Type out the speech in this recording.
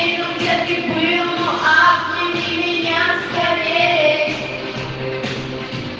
я люблю тебя любую а у меня руки